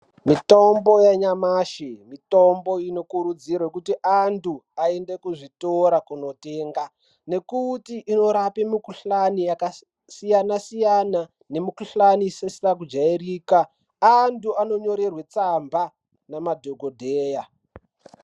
Mitombo yanyamashi mitombo inokurudzirwa kuti anthu aende kuzvitora kunotenga ngekuti inorapa mikuhlani yakasiyana siyana nemikuhlani isisina kujairika anthu anonyorerwe tsamba nemadhokodheya .